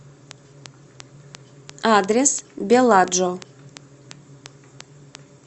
адрес беладжо